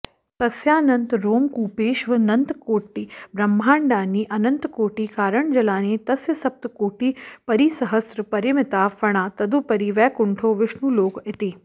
तस्यानन्तरोमकूपेष्वनन्तकोटिब्रह्माण्डानि अनन्तकोटिकारणजलानि तस्य सप्तकोटिपरिसहस्रपरिमिताः फणाः तदुपरि वैकुण्ठो विष्णुलोक इति